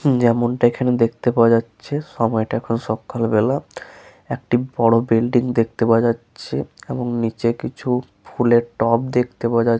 যেমনটা এইখানে দেখতে পাওয়া যাচ্ছে সময়টা এখন সকালবেলা একটি বড় বিল্ডিং দেখতে পাওয়া যাচ্ছে এবং নিচে কিছু ফুলের টব দেখতে পাওয়া--